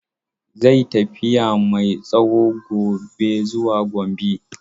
Zai yi tafiya mai tsawo gobe zuwa Gombe.